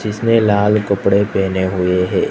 जिसने लाल कपड़े पहने हुए है।